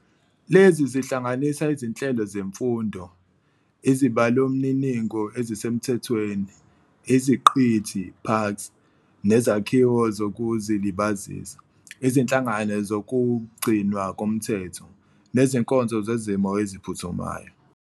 Lezi zihlanganisa izinhlelo zemfundo, izibalomniningo ezisemthethweni, iziqithi "parks", nezakhiwo zokuzilibazisa, izinhlangano zokugcinwa komthetho, nezinkonzo zezimo eziphuthumayo.